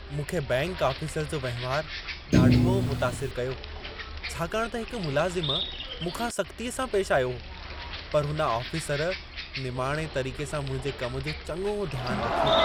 मूंखे bank officer जो वहिंवारु ॾाढो मुतासिरु कयो, छाकाणि त हिकु मुलाज़िम मूंखां सख़्तीअ सां पेशि आयो पर हुन आफ़ीसर, निमाणे तरीक़े सां मुंहिंजे कम जो चङो ध्यानु रखियो।